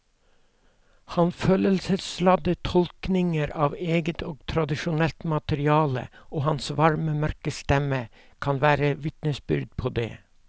Hans følelsesladde tolkninger av eget og tradisjonelt materiale og hans varme mørke stemme kan være vitnesbyrd på det.